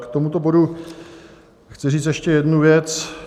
K tomuto bodu chci říct ještě jednu věc.